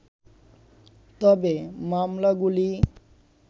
তবে মামলাগুলি